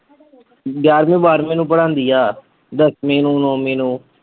ਗਿਆਰ੍ਹਵੀਂ ਬਾਰ੍ਹਵੀਂ ਨੂੰ ਪੜ੍ਹਾਂਦੀ ਆ, ਦੱਸਵੀਂ ਨੂੰ, ਨੌਵੀਂ ਨੂੰ।